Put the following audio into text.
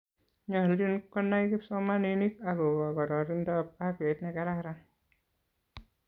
nyolchin kunai kipsomaninik akobo kororintab afyait nekararan